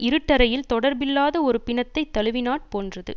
இருட்டறையில் தொடர்பில்லாத ஒரு பிணத்தை தழுவினாற் போன்றது